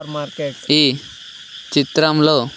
ఈ చిత్రంలో